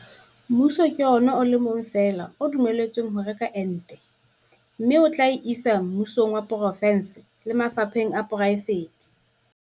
Mmuso ke ona o le mong fela o dumelletsweng ho reka ente mme o tla e isa mmusong wa porofense le mafapheng a poraefete.